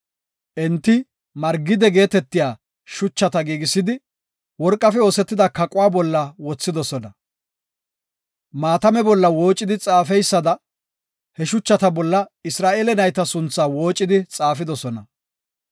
Enti margide geetetiya shuchata giigisidi, worqafe oosetida kaquwa bolla wothidosona. Maatame bolla woocidi xaafeysada, he shuchata bolla Isra7eele nayta sunthaa woocidi xaafidosona.